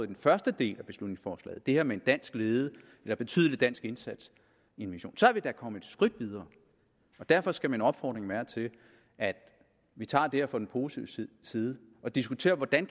den første del af beslutningsforslaget altså det her med en dansk ledet eller betydelig dansk indsats i en mission så er vi da kommet et skridt videre derfor skal min opfordring være at vi tager det her fra den positive side og diskuterer hvordan